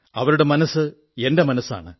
അവരുടെ മനസ്സ് എന്റെ മനസ്സാണ്